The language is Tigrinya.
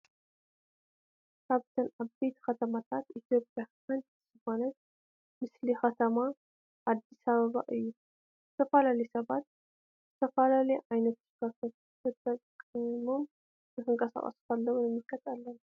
ካብተን ዓበይቲ ከተማታት ኢትዮጵያ ሓንቲ ዝኾነት ምስሊ ከተማ ኣዲስ ኣበባ እዩ፡፡ ዝተፈላለዩ ሰባት ዝተፈላለየ ዓይነት ተሽከርከርቲ ተጠቂሞም ክንቀሳቀሱ ከለው ንምልከት ኣለና፡፡